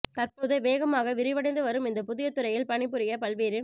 தற்போது வேகமாக விரிவடைந்து வரும் இந்த புதிய துறையில் பணி புரிய பல்வேறு